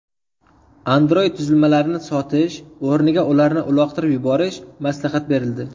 Android qurilmalarini sotish o‘rniga ularni uloqtirib yuborish maslahat berildi.